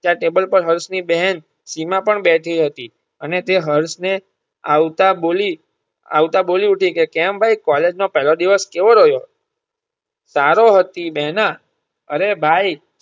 ત્યાં table પર હર્ષ ની બહેન સીમા પણ બેઠી હતી અને તે હર્ષ ને આવતા બોલી આવતા બોલી હતી કે કેમ ભાઈ કોલેજ માં પેલો દિવસ કેવો રહ્યો સારો હતી બેહના અરે ભાઈ.